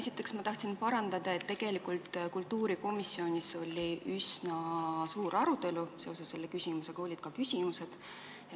Esiteks ma tahan parandada, et tegelikult kultuurikomisjonis oli üsna suur arutelu selle teema üle ja olid ka küsimused.